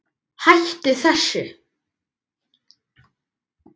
HÆTTU ÞESSU!